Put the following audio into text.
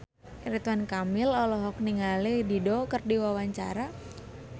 Ridwan Kamil olohok ningali Dido keur diwawancara